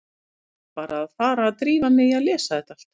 Ég verð bara að fara að drífa mig í að lesa þetta allt.